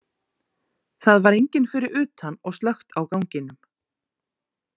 Það var enginn fyrir utan og slökkt á ganginum.